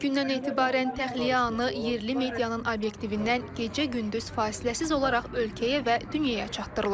İlk gündən etibarən təxliyə anı yerli medianın obyektivindən gecə-gündüz fasiləsiz olaraq ölkəyə və dünyaya çatdırılır.